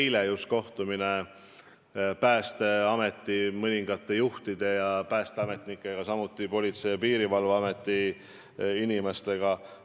Mul oli just eile kohtumine Päästeameti mõningate juhtide ja teiste päästeametnikega, samuti Politsei- ja Piirivalveameti inimestega.